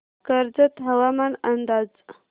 कर्जत हवामान अंदाज